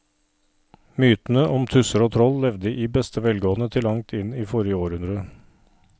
Mytene om tusser og troll levde i beste velgående til langt inn i forrige århundre.